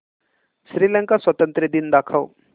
श्रीलंका स्वातंत्र्य दिन दाखव